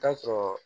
Taa sɔrɔ